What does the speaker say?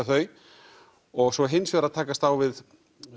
þau og svo hins vegar að takast á við